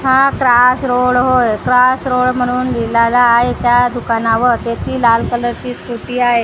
हा cross road होय cross road म्हणून लिहिलेला आहे त्या दुकानावर ते ती लाल कलरची ची स्कूटी आहे आणि--